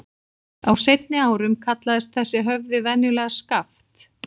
Á seinni árum kallaðist þessi höfði venjulega Skaft.